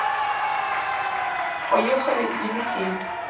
поехали елисей